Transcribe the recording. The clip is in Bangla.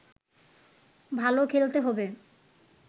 ভালো খেলতে হবে